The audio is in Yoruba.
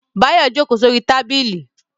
Báyọ̀ jókòó sórí tábìlì